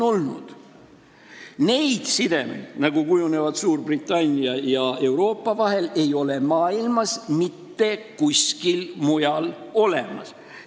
Selliseid sidemeid, nagu kujunevad Suurbritannia ja Euroopa vahel, ei ole maailmas mitte kuskil mujal olemas.